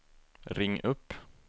ring upp